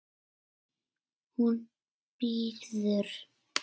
Hún bíður!